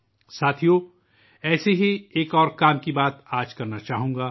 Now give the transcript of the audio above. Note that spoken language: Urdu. دوستو، میں آج اس طرح کے کام کی ایک اور مثال پیش کرنا چاہوں گا